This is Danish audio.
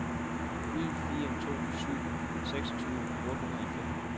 ni fire to syv seksogtyve otte hundrede og fem